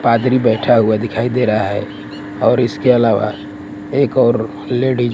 पादरी बैठा हुआ दिखाई दे रहा है और इसके अलावा एक और लेडिस --